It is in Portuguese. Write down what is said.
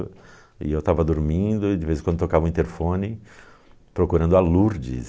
E eu estava dormindo e, de vez em quando, tocava o interfone procurando a Lourdes.